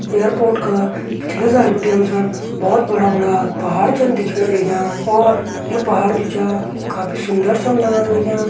एयरपोर्ट का पिछले साइड बटी हम सण बोहोत बड़ा बड़ा पहाड़ चन दिखेण लग्यां और यु पहाड़ जु छ काफ़ी सुंदर छन लगण लग्यां।